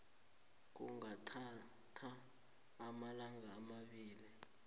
kungathatha amalanga amabili